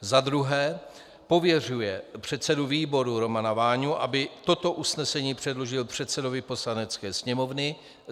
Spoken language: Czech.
za druhé pověřuje předsedu výboru Romana Váňu, aby toto usnesení předložil předsedovi Poslanecké sněmovny;